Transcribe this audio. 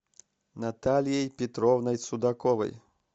натальей петровной судаковой